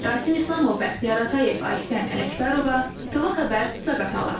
Rasim İslamov, Bəxtiyar Atayev, Aysən Ələkbərova, İTV Xəbər, Zaqatala.